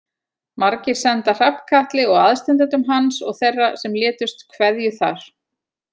Margir senda Hrafnkatli og aðstandendum hans og þeirra sem létust kveðju þar.